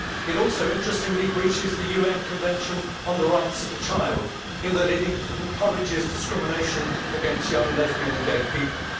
It also, interestingly, breaches the UN Convention on the Rights of the Child, in that it encourages discrimination against young lesbians and gay people.